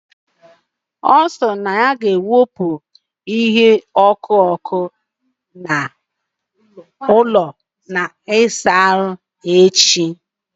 Ee, o kwuru na ya ga-ewepụ ihe ọkụ ọkụ na ụlọ ịsa ahụ echi.